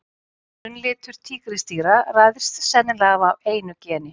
Grunnlitur tígrisdýra ræðst sennilega af einu geni.